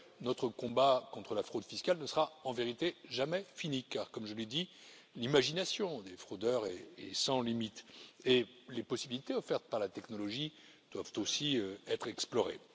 Notre combat contre la fraude fiscale ne sera en vérité jamais fini car comme je l'ai dit, l'imagination des fraudeurs est sans limite et les possibilités offertes par la technologie doivent aussi être explorées.